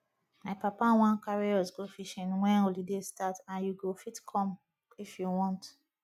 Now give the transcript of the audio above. my papa wan carry us go fishing wen holiday start and you go fit come if you want